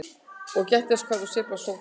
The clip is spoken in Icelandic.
Og gættu að því hvar þú sveifla sópnum.